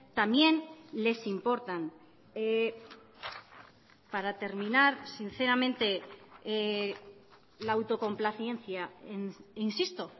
también les importan para terminar sinceramente la autocomplacencia insisto